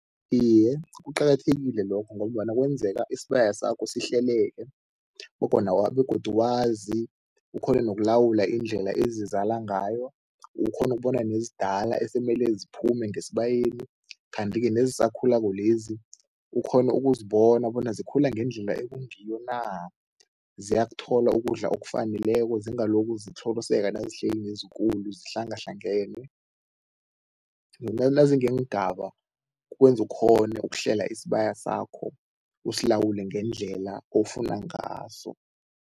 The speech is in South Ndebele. Iye, kuqakathekile lokho ngombana kwenzeka isibaya sakho sihlekelele begodu wazi, ukghone nokulawula indlela ezizala ngayo, ukghone ukubona nezidala esemele ziphume ngesibayeni kanti-ke nezisakhulako lezi ukghone ukuzibona bona zikhula ngendlela ekungiyo na, ziyakuthola ukudla okufaneleko zingalokhu zitlhoriseka nazihleli nezikulu, zihlangahlangene. Nazingeengaba kwenza ukghone ukuhlela isibaya sakho, usilawule ngendlela ofuna ngaso.